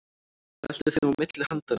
Veltir þeim á milli handanna.